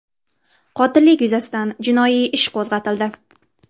Qotillik yuzasidan jinoiy ish qo‘zg‘atildi.